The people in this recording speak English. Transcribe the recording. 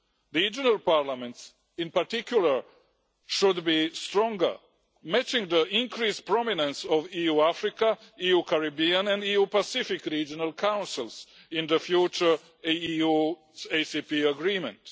Regional parliaments, in particular, should be stronger, matching the increased prominence of EU Africa, EU Caribbean and EU Pacific regional councils in the future ACP EU agreement.